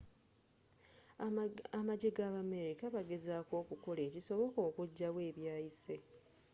amagye g'abamerika bagezzako okukola ekisoboka okujjawo ebyayise